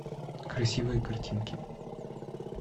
красивые картинки